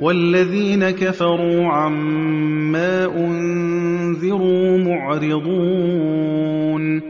وَالَّذِينَ كَفَرُوا عَمَّا أُنذِرُوا مُعْرِضُونَ